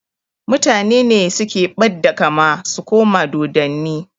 Mutane ne suke ɓadda kama su koma dodanni